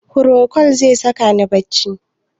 Procold zai saka ni bacci?